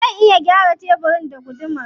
Zan iya gyara tebirin da gudumar.